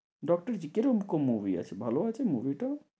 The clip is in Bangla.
ডক্টরজি কিরকম movie আছে? ভালো আছে movie টা?